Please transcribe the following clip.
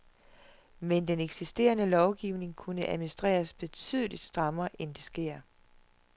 Men den eksisterende lovgivning kunne administreres betydeligt strammere, end det sker.